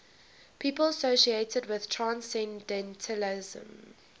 people associated with transcendentalism